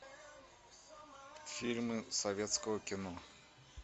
фильмы советского кино